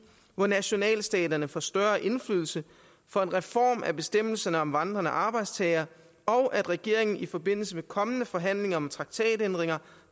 hvor nationalstaterne får større indflydelse for en reform af bestemmelserne om vandrende arbejdstagere og at regeringen i forbindelse med kommende forhandlinger om traktatændringer